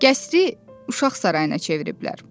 Qəsri uşaq sarayına çeviriblər.